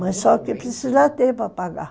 Mas só que precisa ter para pagar.